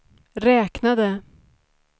räknade